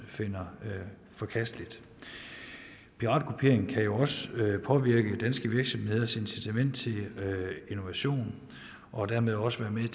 finder forkasteligt piratkopiering kan jo også påvirke danske virksomheders incitament til innovation og dermed også være med